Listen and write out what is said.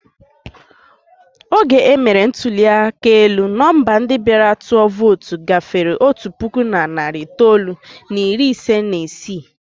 Oge e mere ntụli aka elu, nọmba ndị bịara tụọ vootu gafere otu puku na narị itoolu na iri isii na ise.